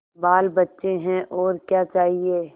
बालबच्चे हैं और क्या चाहिए